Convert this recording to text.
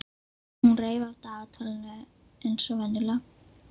Hún reif af dagatalinu eins og venjulega.